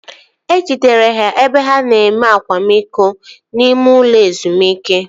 E jidere ha ebe ha na-enwe akwamiko n'ime ụlọ ezumike